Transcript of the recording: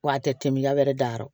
Wa a tɛ miliyarɛ dayɔrɔ